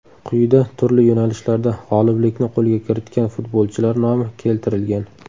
Quyida turli yo‘nalishlarda g‘oliblikni qo‘lga kiritgan futbolchilar nomi keltirilgan.